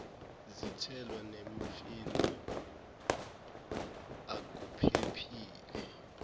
zithelo nemifino akuphephile